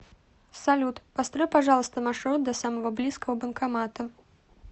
салют построй пожалуйста маршрут до самого близкого банкомата